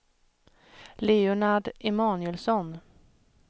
Leonard Emanuelsson